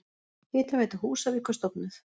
Hitaveita Húsavíkur stofnuð.